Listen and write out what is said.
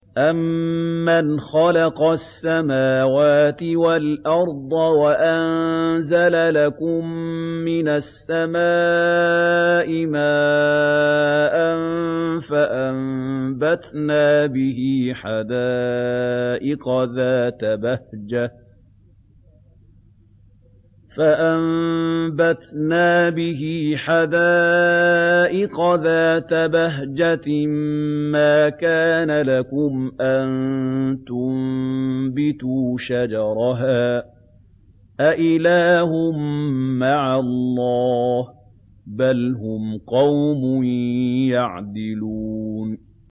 أَمَّنْ خَلَقَ السَّمَاوَاتِ وَالْأَرْضَ وَأَنزَلَ لَكُم مِّنَ السَّمَاءِ مَاءً فَأَنبَتْنَا بِهِ حَدَائِقَ ذَاتَ بَهْجَةٍ مَّا كَانَ لَكُمْ أَن تُنبِتُوا شَجَرَهَا ۗ أَإِلَٰهٌ مَّعَ اللَّهِ ۚ بَلْ هُمْ قَوْمٌ يَعْدِلُونَ